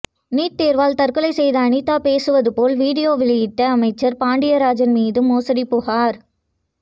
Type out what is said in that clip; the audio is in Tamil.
நீட் தேர்வால் தற்கொலை செய்த அனிதா பேசுவது போல் வீடியோ வெளியிட்ட அமைச்சர் பாண்டியராஜன் மீது மோசடி புகார்